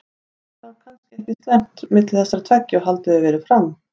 Það er þá kannski ekki eins slæmt milli þessara tveggja og haldið hefur verið fram?